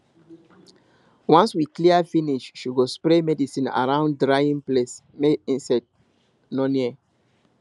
once we clear finish she go spray medicine around drying place make insect no near